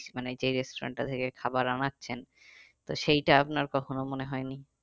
মানে যেই restaurant টা থেকে খাবার আনাচ্ছেন তো সেইটা আপনার কখনো মনে হয়নি?